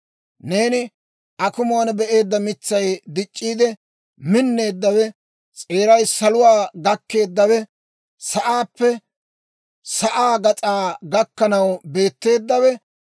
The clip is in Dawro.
Neeni akumuwaan be'eedda mitsay, dic'c'iide minneeddawe, s'eeray saluwaa gakkeeddawe, sa'aappe sa'aa gas'aa gakkanaw beetteeddawe,